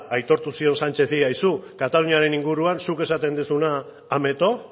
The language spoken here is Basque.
aitortu zion sánchezi aizu kataluniaren inguruan zuk esaten duzuna ameto